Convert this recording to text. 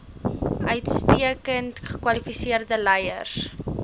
uitstekend gekwalifiseerde leiers